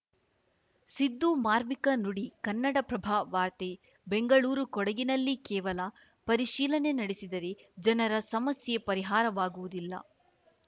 ಸಿದ್ದು ಮಾರ್ಮಿಕ ನುಡಿ ಕನ್ನಡಪ್ರಭ ವಾರ್ತೆ ಬೆಂಗಳೂರು ಕೊಡಗಿನಲ್ಲಿ ಕೇವಲ ಪರಿಶೀಲನೆ ನಡೆಸಿದರೆ ಜನರ ಸಮಸ್ಯೆ ಪರಿಹಾರವಾಗುವುದಿಲ್ಲ